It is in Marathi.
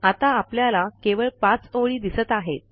आता आपल्याला केवळ 5 ओळी दिसत आहेत